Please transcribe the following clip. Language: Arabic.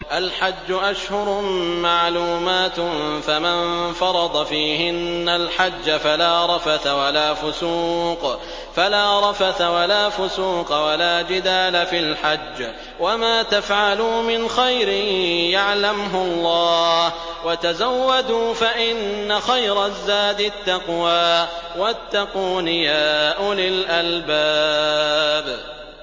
الْحَجُّ أَشْهُرٌ مَّعْلُومَاتٌ ۚ فَمَن فَرَضَ فِيهِنَّ الْحَجَّ فَلَا رَفَثَ وَلَا فُسُوقَ وَلَا جِدَالَ فِي الْحَجِّ ۗ وَمَا تَفْعَلُوا مِنْ خَيْرٍ يَعْلَمْهُ اللَّهُ ۗ وَتَزَوَّدُوا فَإِنَّ خَيْرَ الزَّادِ التَّقْوَىٰ ۚ وَاتَّقُونِ يَا أُولِي الْأَلْبَابِ